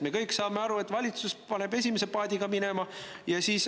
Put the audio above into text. Me kõik saame aru, et valitsus paneb esimese paadiga minema.